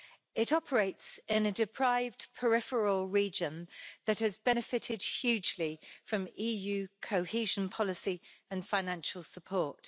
It operates in a deprived peripheral region that has benefited hugely from EU cohesion policy and financial support.